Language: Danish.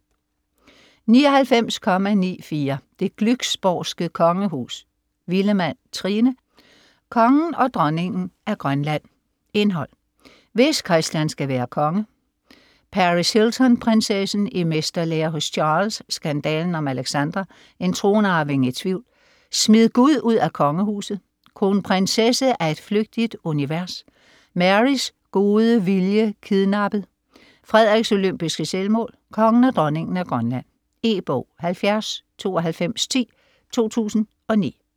99.94 Det Glücksborgske Kongehus Villemann, Trine: Kongen og Dronningen af Grønland Indhold: Hvis Christian skal være konge -; Paris Hilton-prinsessen; I mesterlære hos Charles; Skandalen om Alexandra; En tronarving i tvivl; Smid Gud ud af kongehuset; Kronprinsesse af et flygtigt univers; Marys gode viljek idnappet; Frederiks olympiske selvmål; Kongen og dronningen af Grønland. E-bog 709210 2009.